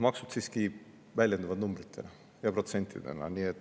Maksud siiski väljenduvad numbrite ja protsentidena.